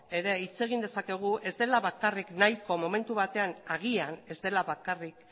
ere hitz egin dezakegu agian ez dela bakarrik